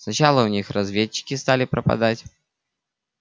сначала у них разведчики стали пропадать